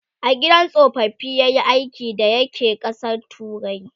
a gidan tsofaffi yayi aiki da ya ke ƙasan turai?